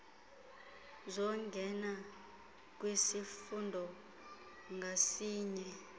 zokungena kwisifundo ngasinye